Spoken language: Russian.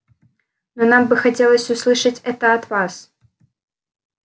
но нам бы хотелось услышать это от вас